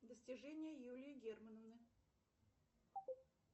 достижения юлии германовны